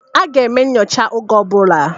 A ga-eme nyocha oge ọ bụla